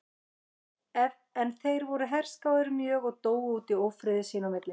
En þeir voru herskáir mjög og dóu út í ófriði sín á milli.